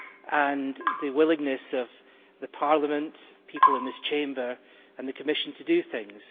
and the willingness of Parliament the people in this Chamber and the Commission to do things.